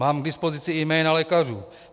Mám k dispozici i jména lékařů.